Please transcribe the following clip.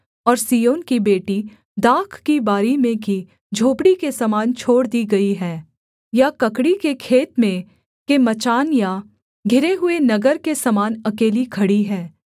और सिय्योन की बेटी दाख की बारी में की झोपड़ी के समान छोड़ दी गई है या ककड़ी के खेत में के मचान या घिरे हुए नगर के समान अकेली खड़ी है